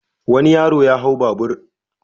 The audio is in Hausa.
Wani yaro ya hau babur.